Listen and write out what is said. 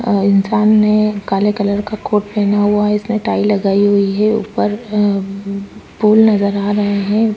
अ इंसान ने काले कलर का कोट पहना हुआ है इसने टाई लगाई हुई है ऊपर अंम फूल नज़र आ रहे है।